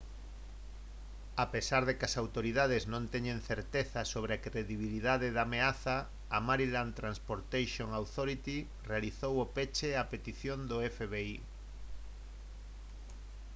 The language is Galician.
a pesar de que as autoridades non teñen certeza sobre a credibilidade da ameaza a maryland transportation authority realizou o peche a petición do fbi